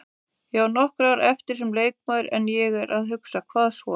Ég á nokkur ár eftir sem leikmaður en ég er að hugsa, hvað svo?